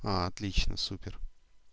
отлично супер